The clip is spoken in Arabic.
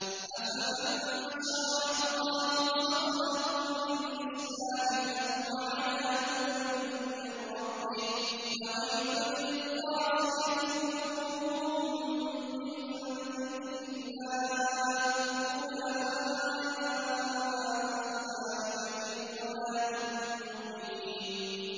أَفَمَن شَرَحَ اللَّهُ صَدْرَهُ لِلْإِسْلَامِ فَهُوَ عَلَىٰ نُورٍ مِّن رَّبِّهِ ۚ فَوَيْلٌ لِّلْقَاسِيَةِ قُلُوبُهُم مِّن ذِكْرِ اللَّهِ ۚ أُولَٰئِكَ فِي ضَلَالٍ مُّبِينٍ